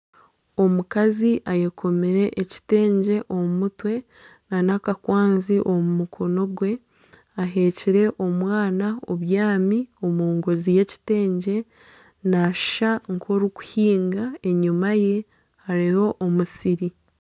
Omukazi ayekomire ekitengye omu mutwe na n'aka kwanzi omu mukono gwe aheekire omwana obyami omungonzi y'ekitengye nashusha nka orikuhinga enyuma ye hariyo omusiri.